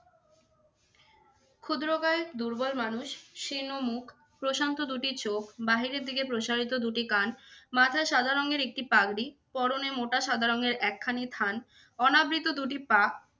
ক্ষুদ্রকায়, দুর্বল মানুষ, শীর্ণ মুখ, প্রশান্ত দুটি চোখ, বাহিরের দিকে প্রসারিত দু'টি কান, মাথায় সাদা রঙের একটি পাগড়ি পরনে মোটা সাদা রঙের একখানি থান, অনাবৃত দুটি পা।